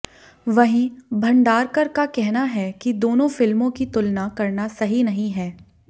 वहीं भंडारकर का कहना है कि दोनों फिल्मों की तुलना करना सही नहीं है